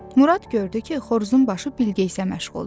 Murad gördü ki, xoruzun başı Bilqeyisə məşğuldur.